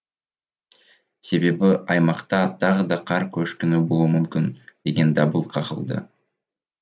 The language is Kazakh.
себебі аймақта тағы да қар көшкіні болуы мүмкін деген дабыл қағылды